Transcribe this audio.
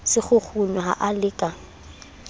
sekgukguni ha a le ka